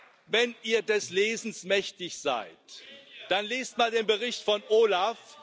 ihr des Lesens mächtig seid, dann lest mal den Bericht des OLAF.